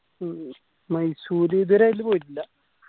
ഉം മൈസൂർ ഇതുവരെ ആയിട്ടും പോയിട്ടില്ല